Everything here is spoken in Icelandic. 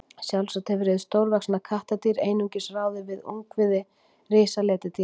Sjálfsagt hefur hið stórvaxna kattardýr einungis ráðið við ungviði risaletidýranna.